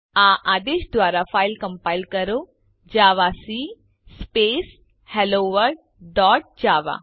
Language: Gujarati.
આ આદેશ દ્વારા ફાઈલ કમ્પાઈલ કરો જાવાક સ્પેસ હેલોવર્લ્ડ ડોટ જાવા